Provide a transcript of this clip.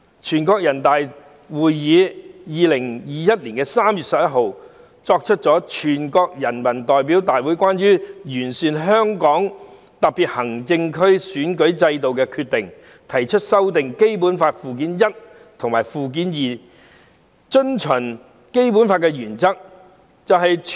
全國人民代表大會在2021年3月11日作出了《全國人民代表大會關於完善香港特別行政區選舉制度的決定》，提出修訂《基本法》附件一和附件二應遵循的基本原則。